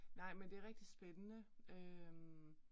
Nej, men det rigtig spændende øh